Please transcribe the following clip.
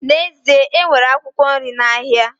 N'ezie, e nwere akwụkwọ nri n'ahịa